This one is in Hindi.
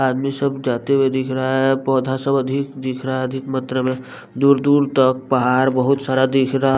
आदमी सब जाते हुए दिख रहा है पौधा सब अधि दिख रहा है अधिक मात्रा में दूर दूर तक पहाड़ बहुत सारा दिख रहा --